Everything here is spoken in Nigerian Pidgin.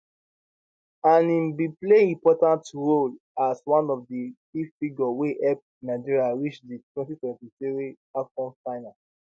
and im bin play important role as one of di key figure wey help nigeria reach di 2023 afcon final